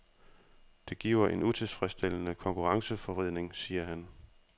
Det giver en utilfredsstillende konkurrenceforvridning, siger han.